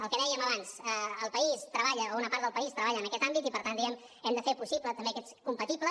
el que dèiem abans el país treballa o una part del país treballa en aquest àmbit i per tant diguem ne ho hem de fer possible compatible